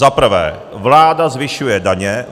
Za prvé, vláda zvyšuje daně.